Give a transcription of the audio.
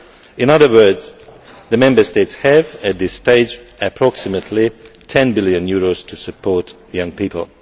In other words, the Member States have at this stage approximately EUR 10 billion to support young people.